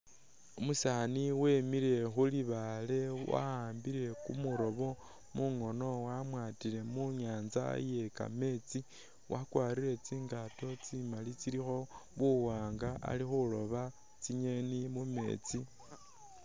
Umusani wemile khulibaale wa'ambile kumulobo mungono wamwatile mu' nyanza iye kameetsi wakwarile tsingato tsimaali tsilikho muwanga ali khuloba tsi'ngeni mumeetsi